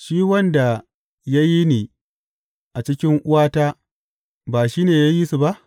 Shi wanda ya yi ni a cikin uwata ba shi ne ya yi su ba?